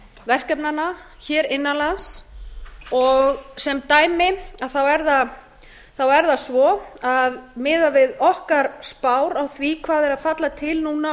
verkefnanna innan lands og sem dæmi er það svo að miðað við okkar spár á því hvað er að falla til núna á